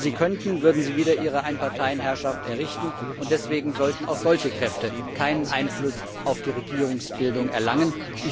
Wenn sie könnten, würden sie wieder ihre Einparteienherrschaft errichten, und deswegen sollten auch solche Kräfte keinen Einfluss auf die Regierungsbildung erlangen.